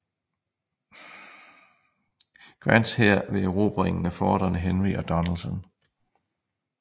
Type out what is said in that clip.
Grants hær ved erobringen af forterne Henry og Donelson